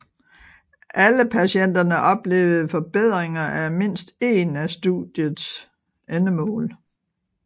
Alle patienterne oplevede forbedringer af mindst én af studiets endemål